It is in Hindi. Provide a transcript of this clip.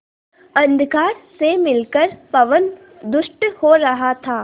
अंधकार से मिलकर पवन दुष्ट हो रहा था